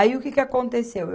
Aí o que que aconteceu?